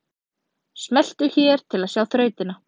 Smelltu hér til að sjá þrautina